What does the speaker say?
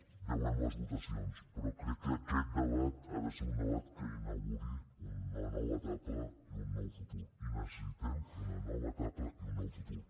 ja veurem les votacions però crec que aquest debat ha de ser un debat que inauguri una nova etapa i un nou futur i necessitem una nova etapa i un nou futur